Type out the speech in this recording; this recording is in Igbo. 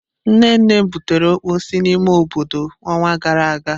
Nne nnem butere okpor si n'ime obodo onwa gara aga.